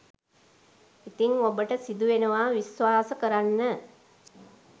ඉතිං ඔබට සිදුවෙනවා විශ්වාස කරන්න